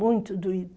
Muito doída.